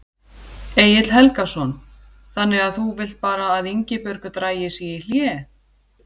Egill Helgason: Þannig að þú vilt bara að Ingibjörg dragi sig í hlé?